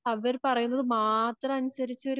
അവർ പറയുന്നതു മാത്രമനുസരിച്ച്